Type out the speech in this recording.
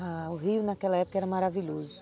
Ah, o rio naquela época era maravilhoso.